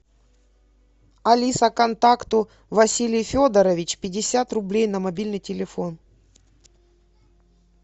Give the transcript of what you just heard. алиса контакту василий федорович пятьдесят рублей на мобильный телефон